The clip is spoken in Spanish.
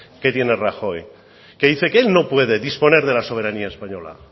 que tiene rajoy que dice que él no puede disponer de la soberanía española